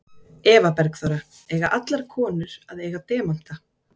Eva Bergþóra: Eiga allar konur að eiga demanta?